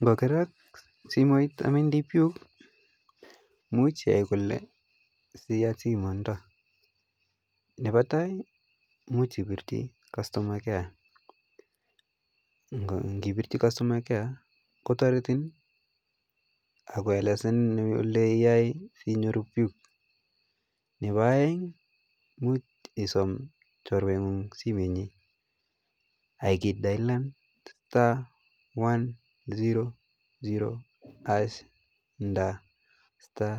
Ngokerak simoit ak imoe inde puk imuche iyai kole siyat somoi nondo, nebo taai imuch ibirchi customer care, ng'ibirchi customer care kotoretin ak koelesan eleyai sinyoru puk, Nebo oeng imuch isom chorweng'ung simoinyin ak idayolen star one zero zero ash nda star